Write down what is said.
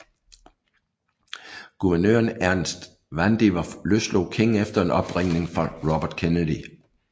Guvernøren Ernest Vandiver løslod King efter en opringning fra Robert Kennedy